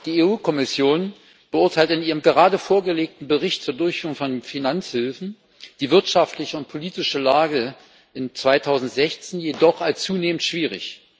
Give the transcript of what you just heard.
Die EU Kommission beurteilt in ihrem gerade vorgelegten Bericht zur Durchführung von Finanzhilfen die wirtschaftliche und politische Lage im Land im Jahr 2016 jedoch als zunehmend schwierig.